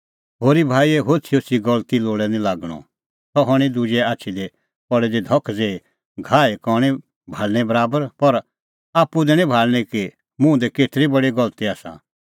होरी भाईए होछ़ीहोछ़ी गलती लोल़ै निं लागणअ सह हणीं दुजे आछी दी पल़ी दी धख ज़ेही घाहे कणीं भाल़णें बराबर पर आप्पू दैणीं भाल़णीं कि मुंह दी केतरी बडी गलती आसा